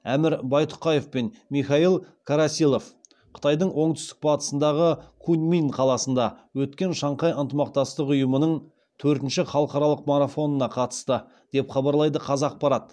әмір байтұқаев пен михаил карасилов қытайдың оңтүстік батысындағы куньмин қаласында өткен шанхай ынтымақтастық ұйымының төртінші халықаралық марафонына қатысты деп хабарлайды қазақпарат